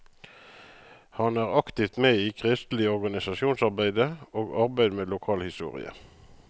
Han er aktivt med i kristelig organisasjonsarbeide og arbeid med lokalhistorie.